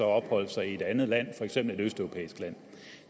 opholdt sig i et andet land for eksempel et østeuropæisk land